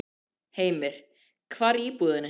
Heimir: Hvar í íbúðinni?